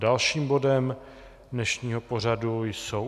Dalším bodem dnešního pořadu jsou